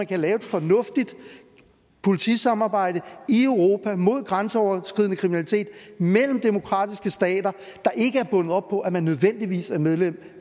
kan lave et fornuftigt politisamarbejde mod grænseoverskridende kriminalitet mellem demokratiske stater der ikke er bundet op på at man nødvendigvis er medlem